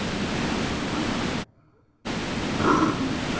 Ah, meu pai?